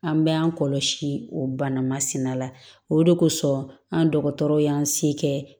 An bɛ an kɔlɔsi o bana masina la o de kosɔn an dɔgɔtɔrɔ y'an se kɛ